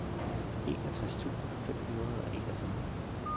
enogtres tusind fem hundrede og enogfyrre